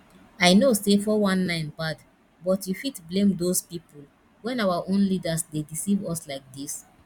i know say 419 bad but you fit blame doz people when our own leaders dey deceive us like dis